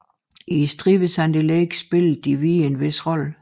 I striden ved Sandy Lake spillede de hvide en vis rolle